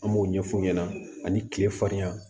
An b'o ɲɛf'u ɲɛna ani kile farinya